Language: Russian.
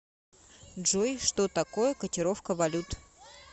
джой что такое котировка валют